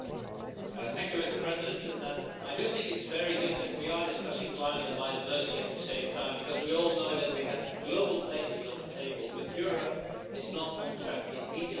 Mr President, I think that it is very good that we are discussing climate and biodiversity at the same time, because we all know that we have global pledges on the table, but Europe is not on track in meeting those pledges.